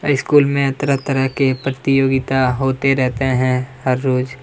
high school में तरह -तरह के प्रतियोगिता होते रहते है हर रोज --